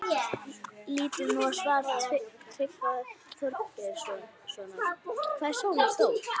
Lítum nú á svar Tryggva Þorgeirssonar, Hvað er sólin stór?